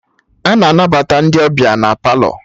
Ana anabata ndị ọbịa na Palọ